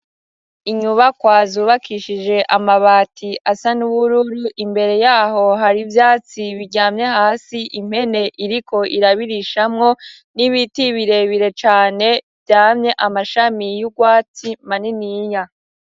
Inyubakwa zubakishije amabati asa n'ubururu imbere yaho har'ivyatsi biryamye hasi impene iriko irabirishamwo n'ibiti birebire cane vyamye amashamyi y'ugwatsi maniniya.